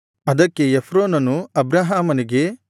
ಅದಕ್ಕೆ ಎಫ್ರೋನನು ಅಬ್ರಹಾಮನಿಗೆ